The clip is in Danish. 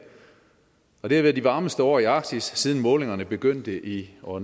og det har været de varmeste år i arktis siden målingerne begyndte i år